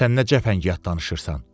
Sən nə cəfəngiyat danışırsan?